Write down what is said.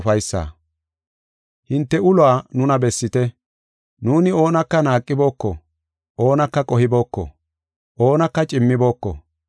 Hinte uluwa nuna bessite. Nuuni oonaka naaqibooko; oonaka qohibooko; oonaka cimmibooko.